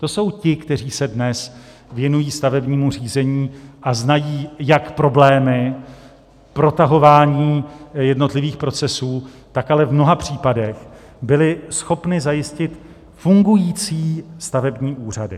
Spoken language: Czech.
To jsou ti, kteří se dnes věnují stavebnímu řízení a znají jak problémy protahování jednotlivých procesů, tak ale v mnoha případech byli schopni zajistit fungující stavební úřady.